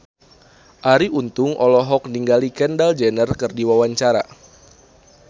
Arie Untung olohok ningali Kendall Jenner keur diwawancara